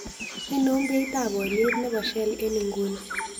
Ainon beitap oliet ne po shell eng' inguni